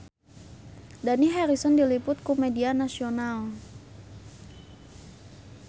Dani Harrison diliput ku media nasional